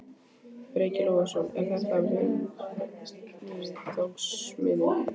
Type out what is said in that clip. Breki Logason: Er þetta vinningsmiðinn?